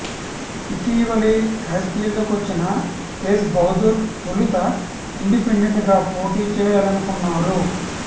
ఇటీవలే రాజకీయాల్లోకి వచ్చిన తేజ్ బహదూర్ తొలుత ఇండిపెండెంట్ గా పోటీచేయాలనుకున్నారు